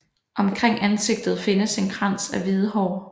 Omkring ansigtet findes en krans af hvide hår